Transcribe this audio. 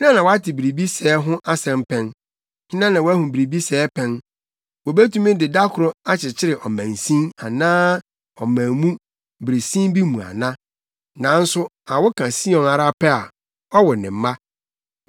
Hena na wate biribi sɛɛ ho asɛm pɛn? Hena na wahu biribi sɛɛ pɛn? Wobetumi de da koro akyekyere ɔmansin, anaa ɔman mu, bere sin bi mu ana? Nanso awo ka Sion ara pɛ a ɔwo ne mma.